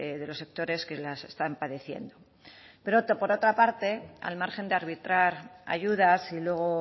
de los sectores que las están padeciendo pero por otra parte al margen de arbitrar ayudas y luego